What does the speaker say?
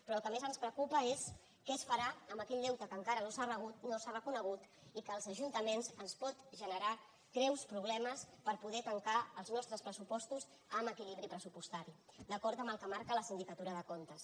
però el que més ens preocupa és què es farà amb aquell deute que encara no s’ha reconegut i que als ajuntaments ens pot generar greus problemes per poder tancar els nostres pressupostos amb equilibri pressupostari d’acord amb el que marca la sindicatura de comptes